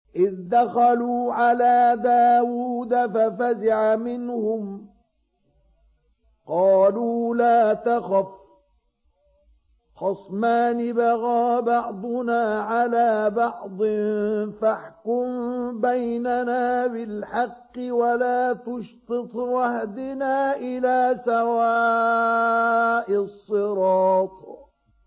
إِذْ دَخَلُوا عَلَىٰ دَاوُودَ فَفَزِعَ مِنْهُمْ ۖ قَالُوا لَا تَخَفْ ۖ خَصْمَانِ بَغَىٰ بَعْضُنَا عَلَىٰ بَعْضٍ فَاحْكُم بَيْنَنَا بِالْحَقِّ وَلَا تُشْطِطْ وَاهْدِنَا إِلَىٰ سَوَاءِ الصِّرَاطِ